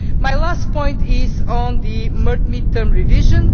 not. My last point is on the mid term revision.